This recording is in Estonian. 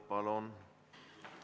Palun!